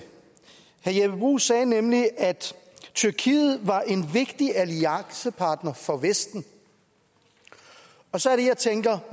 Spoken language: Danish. herre jeppe bruus sagde nemlig at tyrkiet var en vigtig alliancepartner for vesten og så er det jeg tænker